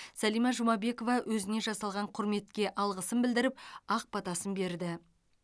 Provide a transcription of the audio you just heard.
сәлима жұмабекова өзіне жасалған құрметке алғысын білдіріп ақ батасын берді